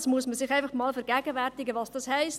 Man muss sich einmal vergegenwärtigen, was dies heisst.